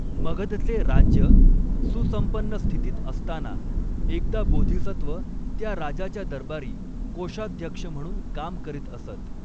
मगधचे राज्य सुसंपन्नस्थितीत असताना एकदा बोधिसत्व त्या राजाच्या दरबारी कोषाध्यक्ष म्हणून काम करीत असत.